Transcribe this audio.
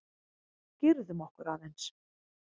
Girðum okkur aðeins!